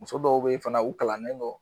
Muso dɔw be yen fana u kalannen dɔ